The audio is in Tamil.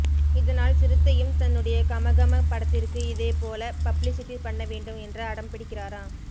இதனால் சிறுத்தையும் தன்னுடைய கமகம படத்திற்கு இதேபோல பப்ளிசிட்டி பண்ணவேண்டும் என்று அடம் பிடிக்கிறாராம்